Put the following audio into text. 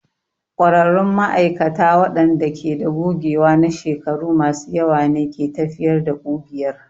ƙwararrun ma'aikata waɗanda ke da gogewa na shekaru masu yawa ne ke tafiyar da ƙugiyar.